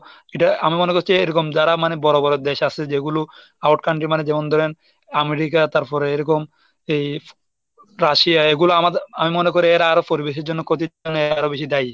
এটা আমি মনে করছি এরকম যারা মানে বড় বড় দেশ আছে যেগুলো out country মানে যেমন ধরেন আমেরিকা তারপরে এরকম এই রাশিয়া এগুলো আমাদের আমি মনে করি এরা আরো পরিবেশের জন্য আরো বেশি দায়ী।